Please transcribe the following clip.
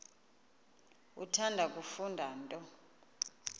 uthanda kufunda nto